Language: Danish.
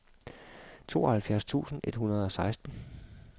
tooghalvfjerds tusind et hundrede og seksten